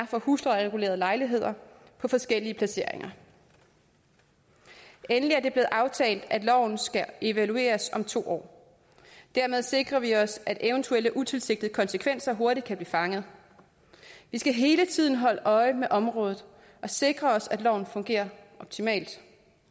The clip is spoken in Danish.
for huslejeregulerede lejligheder på forskellige placeringer er endelig er der blevet aftalt at loven skal evalueres om to år dermed sikrer vi os at eventuelle utilsigtede konsekvenser hurtigt kan blive fanget vi skal hele tiden holde øje med området og sikre os at loven fungerer optimalt